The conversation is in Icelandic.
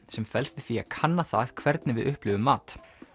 sem felst í því að kanna það hvernig við upplifum mat